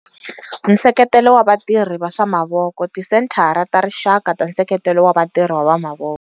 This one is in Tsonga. Nseketelo wa vatirhi va swa mavoko, Tisenthara ta Rixaka ta Nseketelo wa Vatirhi va Mavoko.